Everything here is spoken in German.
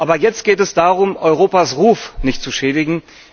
Aber jetzt geht es darum, Europas Ruf nicht zu schädigen.